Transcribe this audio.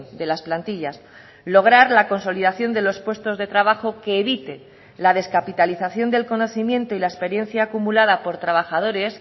de las plantillas lograr la consolidación de los puestos de trabajo que evite la descapitalización del conocimiento y la experiencia acumulada por trabajadores